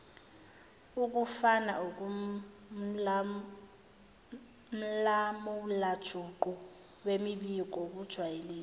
okufakaumlamulajuqu wemibiko kujwayelekile